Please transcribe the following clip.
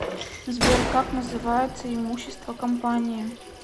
сбер как называется имущество компании